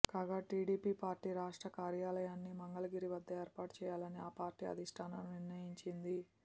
కాగా TDP party రాష్ట్ర కార్యాలయాన్ని మంగళగిరి వద్ద ఏర్పాటు చేయాలని ఆ పార్టీ అధిష్టానం నిర్ణయించింది